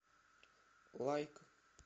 лайк